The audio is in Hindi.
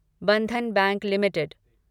Bandhan bank limited